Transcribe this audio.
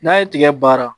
N'a ye tigɛ baara